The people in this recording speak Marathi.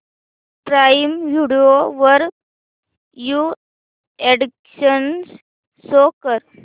प्राईम व्हिडिओ वरील न्यू अॅडीशन्स शो कर